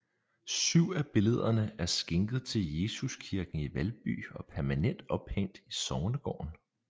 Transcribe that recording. Syv af billederne er skænket til Jesuskirken i Valby og permanent ophængt i sognegården